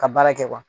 Ka baara kɛ